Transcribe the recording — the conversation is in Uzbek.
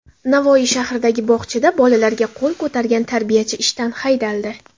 Navoiy shahridagi bog‘chada bolalarga qo‘l ko‘targan tarbiyachi ishdan haydaldi.